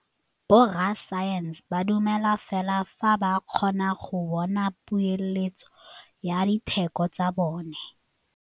Borra saense ba dumela fela fa ba kgonne go bona poeletsô ya diteko tsa bone.